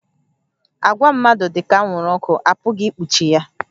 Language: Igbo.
Àgwà mmadụ dị ka anwụrụ ọkụ, a pụghị ikpuchi ya